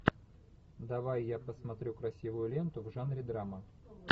давай я посмотрю красивую ленту в жанре драма